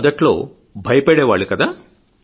మొదట్లో భయపడే వాళ్లు కదా